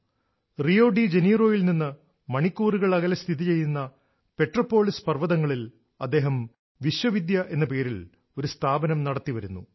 Rio de ജനീറോയിൽ Rio de Janeiro നിന്ന് മണിക്കൂറുകൾ അകലെ സ്ഥിതി ചെയ്യുന്ന പെട്രൊപോളിസ് പർവതങ്ങളിൽ Petrópolis അദ്ദേഹം വിശ്വവിദ്യ എന്ന പേരിൽ ഒരു സ്ഥാപനം നടത്തി വരുന്നു